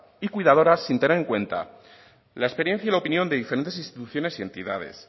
y cuidadoras sin tener en cuenta la experiencia y la opinión de diferentes instituciones y entidades